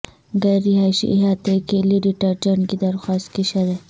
غیر رہائشی احاطے کے لئے ڈٹرجنٹ کی درخواست کی شرح